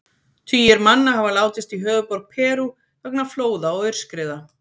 Tugir manna hafa látist í höfuðborg Perú vegna flóða og aurskriða.